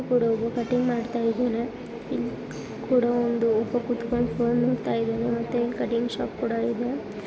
ಇಲ್ ಕೂಡ ಒಬ್ಬ ಕಟಿಂಗ್ ಮಾಡ್ತಾ ಇದ್ದಾನೆ. ಇಲ್ ಕೂಡ ಒಂದು ಒಬ್ಬ ಕುತ್ಕೊಂಡ್ ಫೋನ್ ನೋಡ್ತಾ ಇದ್ದಾನೆ ಮತ್ತೆ ಇಲ್ ಕಟಿಂಗ್ ಶಾಪ್ ಕೂಡ ಇದೆ.